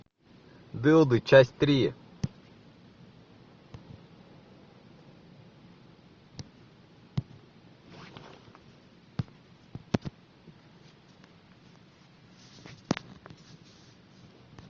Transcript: дылды часть три